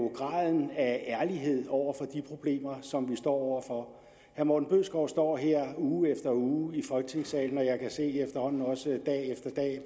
graden af ærlighed over for de problemer som vi står over for herre morten bødskov står her uge efter uge i folketingssalen og jeg kan se efterhånden også dag